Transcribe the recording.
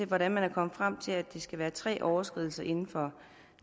hvordan man er kommet frem til at det skal være tre overskridelser inden for